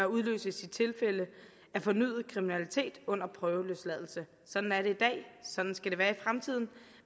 udløses i tilfælde af fornyet kriminalitet under prøveløsladelse sådan er det i dag sådan skal det være i fremtiden